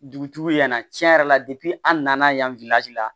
Dugutigi yanna tiɲɛ yɛrɛ la an nana yan la